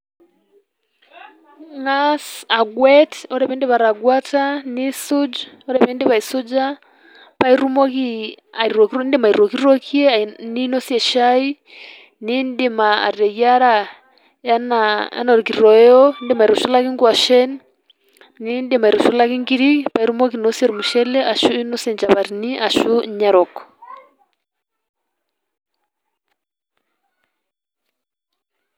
Ingaas agwet, ore piindip atagweta niisuj, ore piindip aisuja pae itumoki adim aitokitokie ninosie shai, niindim ateyiara enaa orkitoyo, indim aitushulaki ing'washen, niindim aitushulaki inkiri paake itumoki ainosie ormushele ashu inosie nchapatini ashu inya erok.